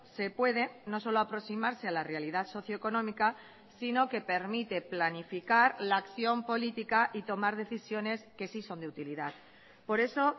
se puede no solo aproximarse a la realidad socioeconómica sino que permite planificar la acción política y tomar decisiones que sí son de utilidad por eso